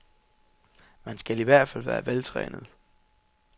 Man skal i hvert fald være veltrænet.